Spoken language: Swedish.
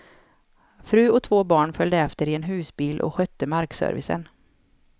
Fru och två barn följde efter i en husbil och skötte markservicen.